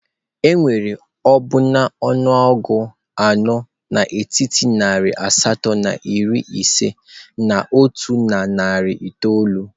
Enwere ọbụna ọnụọgụ anọ n'etiti narị asatọ na iri ise na otu na narị itoolu.